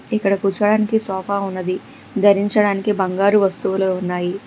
ఇక్కడ కూర్చోడానికి సోఫా ఉన్నది ధరించడానికి బంగారు వస్తువులు ఉన్నాయి.